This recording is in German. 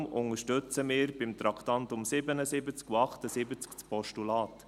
Darum unterstützen wir bei den Traktanden 77 und 78 das Postulat.